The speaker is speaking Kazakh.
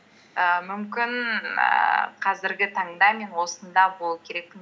ііі мүмкін ііі қазіргі таңда мен осында болу керекпін